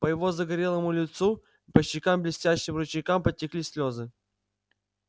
по его загорелому лицу по щекам блестящим ручейкам потекли слезы